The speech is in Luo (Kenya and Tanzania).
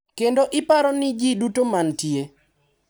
Kendo iparo ni ji duto ma nitie, .